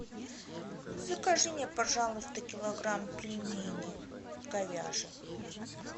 закажи мне пожалуйста килограмм пельменей говяжьих